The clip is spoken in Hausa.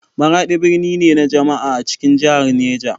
Maradi birni ne na jama'a a cikin jihar Niger.